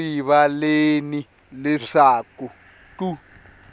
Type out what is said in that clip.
swi le rivaleni leswaku ku